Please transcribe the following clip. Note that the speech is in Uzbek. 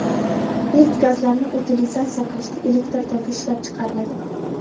Neft gazlarini utilizatsiya qilishda elektr toki ishlab chiqariladi.